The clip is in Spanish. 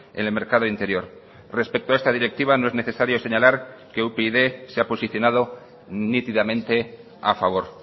en el mercado interior respecto a esta directiva no es necesario señalar que upyd se ha posicionado nítidamente a favor